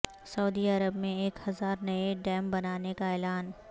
سعودی عرب میں ایک ہزار نئے ڈیم بنانے کا اعلان